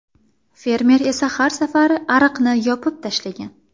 Fermer esa har safar ariqni yopib tashlagan.